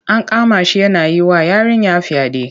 An kama shi yana yi wa yarinya fyaɗe.